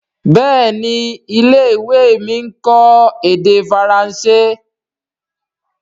Béèni ilé-ìwé mí nkọ èdè Faransé.